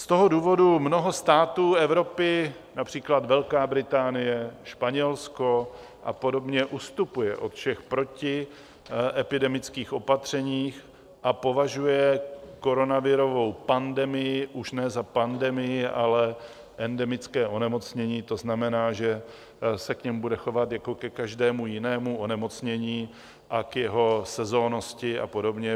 Z toho důvodu mnoho států Evropy, například Velká Británie, Španělsko a podobně, ustupuje od všech protiepidemických opatření a považuje koronavirovou pandemii už ne za pandemii, ale endemické onemocnění, to znamená, že se k němu bude chovat jako ke každému jinému onemocnění a k jeho sezónnosti a podobně.